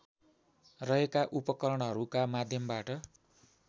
रहेका उपकरणहरूका माध्यमबाट